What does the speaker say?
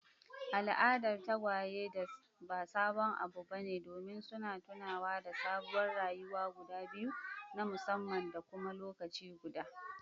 Al'adar tagwaye ba sabon abu bane domin suna tunawa da sabuwar rayuwa guda biyu na musamman da kuma lokaci guda.